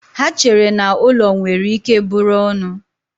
Ha chere na ụlọ nwere ike bụrụ ọnụ.